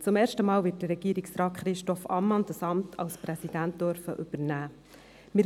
Zum ersten Mal wird Regierungsrat Christoph Ammann das Amt des Regierungspräsidenten übernehmen dürfen.